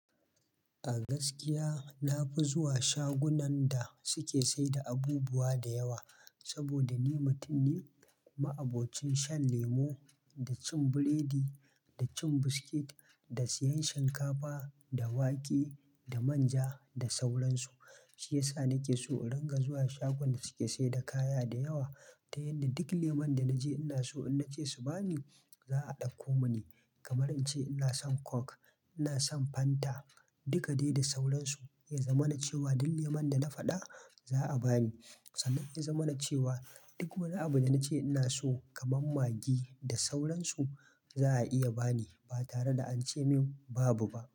A gaskiya nafi zuwa shagunan da suke saida abubuwa da yawa, saboda ni mutum ne ma'abocin shan lemo, da cin biredi, da cin biskit, da siyan shinkafa, da wake, da manja da sauran su. Shiyasa nake so in dinga zuwa shagon da suke saida kaya da yawa, ta yanda duk lemun da naje ina so in nace su bani, za a dakko mini. Kamar ince ina son Coke, ina son Fanta, dukade da sauransu, yazamana cewa duk leman da na faɗa za'a bani. Sannan yazamana cewa duk wani abu da nace ina so kaman Maggi da sauran su za a iya bani, ba tare da ance mun babu ba.